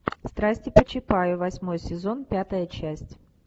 страсти по чапаю восьмой сезон пятая часть